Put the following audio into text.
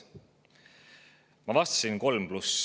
Ma vastasin, et kolm pluss.